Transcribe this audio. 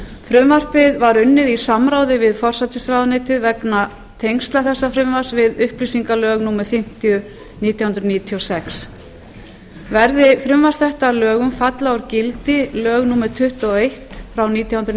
frumvarpið var unnið í samráði við forsætisráðuneytið vegna tengsla þessa frumvarps við upplýsingalög númer fimmtíu nítján hundruð níutíu og sex verði frumvarp þetta að gildi falla úr gildi lög númer tuttugu og eitt nítján hundruð